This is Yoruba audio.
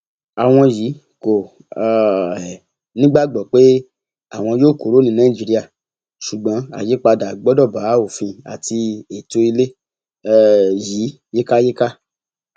àwọn yìí kò um nígbàgbọ pé àwọn yóò kúrò ní nàìjíríà ṣùgbọn àyípadà gbọdọ bá òfin àti ètò ilé um yìí yíkáyíká